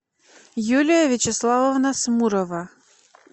юлия вячеславовна смурова